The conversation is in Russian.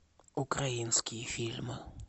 украинские фильмы